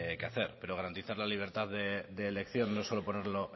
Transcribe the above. que hacer pero garantizar la libertad de elección no solo ponerlo